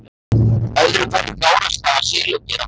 Öðru hverju gárast það af silungi eða flugu.